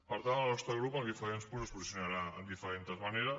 per tant el nostre grup en els diferents punts es posicionarà de diferentes maneres